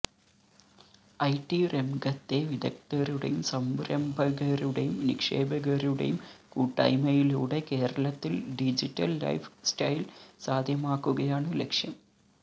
IT രംഗത്തെ വിദഗ്ധരുടെയും സംരംഭകരുടെയും നിക്ഷേപകരുടെയും കൂട്ടായ്മയിലൂടെ കേരളത്തില് ഡിജിറ്റല് ലൈഫ് സ്റ്റൈല് സാധ്യമാക്കുകയാണ് ലക്ഷ്യം